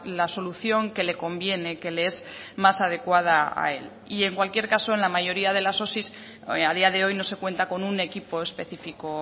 la solución que le conviene que le es más adecuada a él y en cualquier caso en la mayoría de las osi a día de hoy no se cuenta con un equipo específico